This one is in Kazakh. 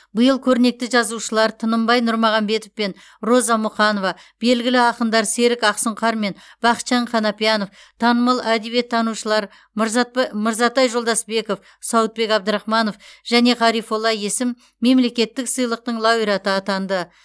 биыл көрнекті жазушылар тынымбай нұрмағамбетов пен роза мұқанова белгілі ақындар серік ақсұңқар мен бақытжан қанапиянов танымал әдебиеттанушылар мырзарб мырзатай жолдасбеков сауытбек абдрахманов және ғарифолла есім мемлекеттік сыйлықтың лауреаты атанды